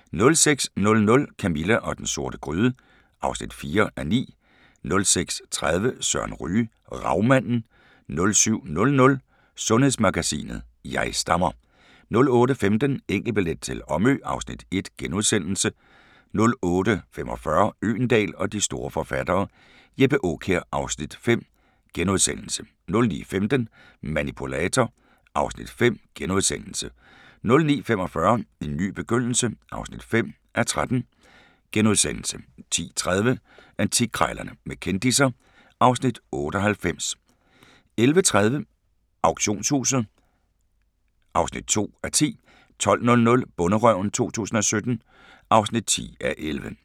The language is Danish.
06:00: Camilla og den sorte gryde (4:9) 06:30: Søren Ryge: Ravmanden 07:00: Sundhedsmagasinet: Jeg stammer 08:15: Enkeltbillet til Omø (Afs. 1)* 08:45: Øgendahl og de store forfattere: Jeppe Aakjær (Afs. 5)* 09:15: Manipulator (Afs. 5)* 09:45: En ny begyndelse (5:13)* 10:30: Antikkrejlerne med kendisser (Afs. 98) 11:30: Auktionshuset (2:10) 12:00: Bonderøven 2017 (10:11)